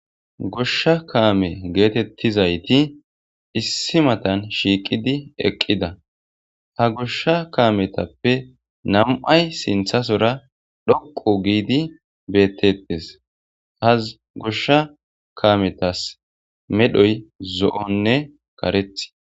Goshsha kaame geetettizayti issi matan shiiqidi eqqida ha goshsha kaametappe namu'ay sinthasora dhoqu giidi bettettes haz goshsha kametas medhoy zo'onne kareth.